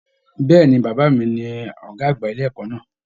Bẹ̀ẹ́ni, bàbá mí ní ọgá àgbà ilé ẹ̀kọ́ náà.